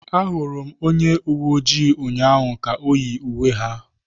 Ahụrụ m onye uwe ojii ụnyaahụ ka yi uwe ha.